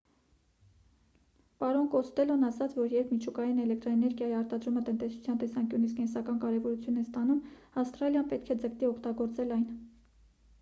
պարոն կոստելլոն ասաց որ երբ միջուկային էլեկտրաէներգիայի արտադրումը տնտեսության տեսանկյունից կենսական կարևորություն է ստանում ավստրալիան պետք է ձգտի օգտագործել այն